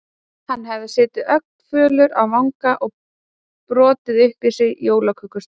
Hann hefði setið ögn fölur á vanga og brotið upp í sig jólakökusneið.